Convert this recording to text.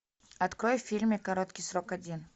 открой фильм короткий срок один